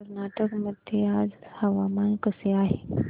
कर्नाटक मध्ये आज हवामान कसे आहे